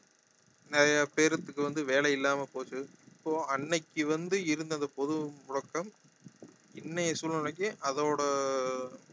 நிறைய பேருக்கு வந்து வேலை இல்லாம போச்சு அப்போ அன்னைக்கு வந்து இருந்த அந்த பொது முடக்கம் இன்னைய சூழ்நிலைக்கு அதோட